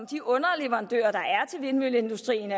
de underleverandører der er til vindmølleindustrien